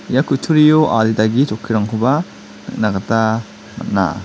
ia kutturio adita ge chokkirangkoba nikna gita man·a.